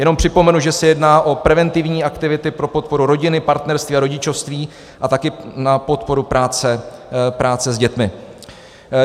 Jenom připomenu, že se jedná o preventivní aktivity pro podporu rodiny, partnerství a rodičovství a také na podporu práce s dětmi.